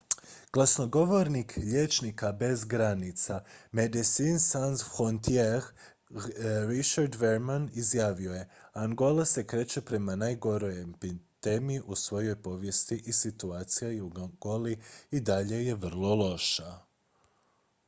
"glasnogovornik liječnika bez granica medecines sans frontiere richard veerman izjavio je: "angola se kreće prema najgoroj epidemiji u svojoj povijesti i situacija u angoli i dalje je vrlo loša"".